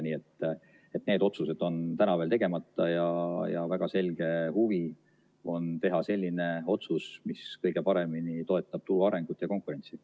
Nii et need otsused on täna veel tegemata ja väga selge huvi on teha selline otsus, mis kõige paremini toetab turu arengut ja konkurentsi.